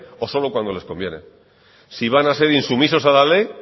o solo cuando les conviene si van a ser insumisos a la ley